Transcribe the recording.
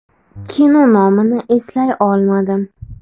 Kino nomini eslay olmadim.